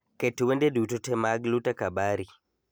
Ket wende duto te mag luta kabari